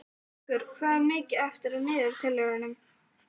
Vöggur, hvað er mikið eftir af niðurteljaranum?